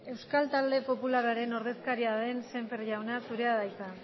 euskal talde popularraren ordezkaria den sémper jauna zurea da hitza